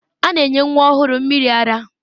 A na-enye nwa ọhụrụ mmiri ara.